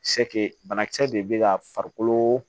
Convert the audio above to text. bana kisɛ de be ka farikolo